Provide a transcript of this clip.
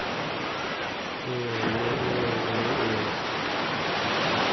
nngwe le nngwe mme o